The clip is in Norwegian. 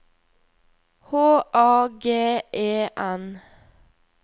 H A G E N